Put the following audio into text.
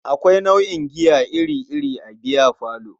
Akwai nau'in giya iri-iri a biyafalo.